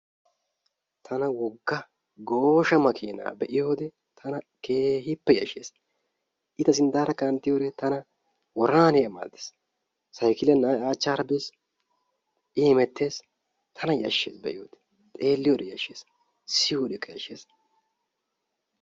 Tana wogga gooshsha makkiina be'iyode tana keehippe yashshees. I ta sinttaara kanttiyode tana woranahaniyaba malatees. Saykkilee na'ay a achaara bees, I hemettees , tana yashshees be'iyode, xeeliyodekka yashshees, siyiyodekka yashshees.